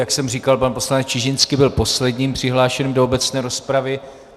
Jak jsem říkal, pan poslanec Čižinský byl posledním přihlášeným do obecné rozpravy.